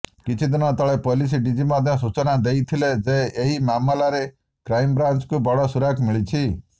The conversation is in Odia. କିଛିଦିନ ତଳେ ପୋଲିସ ଡିଜି ମଧ୍ୟ ସୂଚନା ଦେଇଥିଲେ ଯେ ଏହି ମାମଲାରେ କ୍ରାଇମବ୍ରାଂଚକୁ ବଡ ସୁରାକ ମିଳିଛି